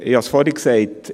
Ich habe es vorhin gesagt: